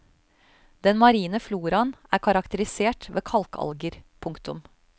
Den marine floraen er karakterisert ved kalkalger. punktum